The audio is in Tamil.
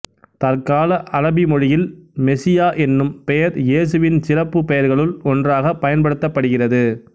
தற்கால அரபி மொழியில் மெசியா என்னும் பெயர் இயேசுவின் சிறப்புப் பெயர்களுள் ஒன்றாகப் பயன்படுத்தப்படுகிறது